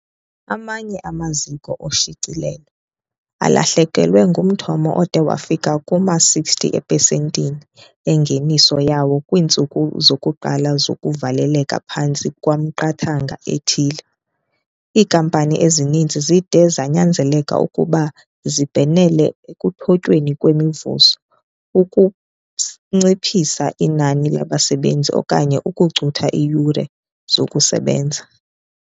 Amanye amaziko oshicilelo alahlekelwe ngumthamo ode wafikelela kuma-60 eepesenti engeniso yawo kwiintsuku zokuqala zokuvaleleka phantsi kwemiqathango ethile. Iinkampani ezininzi zide zanyanzeleka ukuba zibhenele ekuthotyweni kwemivuzo, ukunciphisa inani labasebenzi okanye ukucutha iiyure zokusebenza.